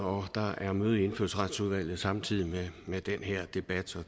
og der er møde i indfødsretsudvalget samtidig med den her debat og